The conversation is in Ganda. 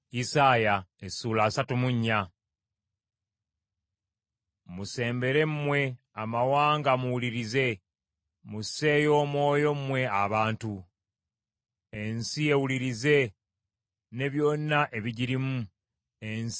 Musembere mmwe amawanga muwulirize. Musseeyo omwoyo mmwe abantu. Ensi ewulirize, ne byonna ebigirimu, ensi ne byonna ebigivaamu.